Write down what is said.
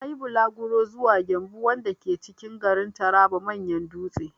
Na yi bulaguro zuwa 'Gembu' wanda ke cikin garin Taraba manyan dutse.